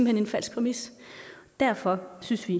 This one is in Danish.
hen en falsk præmis derfor synes vi